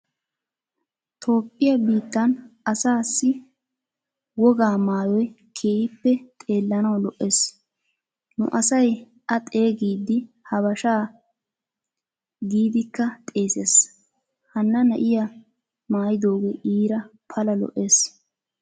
Toophphiyaa biittan asaasi wogaa maayoy keehippe xeellanawu lo"ees. Nu asay a xeegidi habashaa gidikka xeesees. Hana na"iyaa maayidoge iira pala lo"ees.